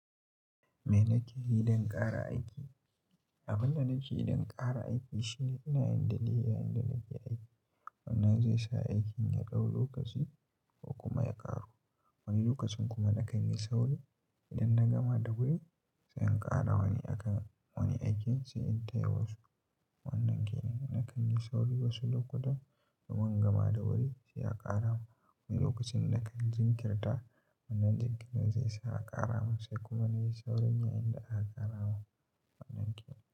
Me nake yi don ƙara aiki? Abin da nake yi don ƙara aiki shine ina yin daidai inda nake aiki. Wannan zai sa aikin ya ɗau lokaci ko kuma ya ƙaru. Wani lokacin kuma na kan yi sauri idan na gama da wuri sai in ƙara wani a kan wani aikin sai in taya wasu. Wannan kenan na kan yi sauri wasu lokutan domin in gama da wuri sai a ƙara. Wani lokacin na kan jinkirta. Wannan jinkirin zai sa a ƙara mun sai kuma na yi saurin yayinda aka ƙara mun in yi aikin.